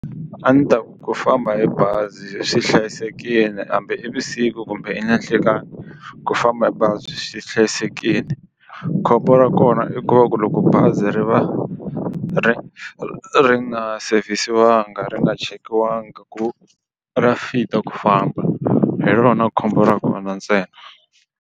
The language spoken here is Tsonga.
A ndzi ta ku famba hi bazi swi hlayisekile hambi i vusiku kumbe nanhlekani ku famba hi bazi swi hlayisekile khombo ra kona i ku va ku loko bazi ri va ri ri nga savesiwanga ri nga chekiwangi ku ra fit a ku famba hi rona khombo ra kona ntsena.